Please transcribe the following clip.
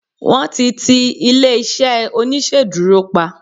wan ti ti ilé iṣẹ oniṣeduro pa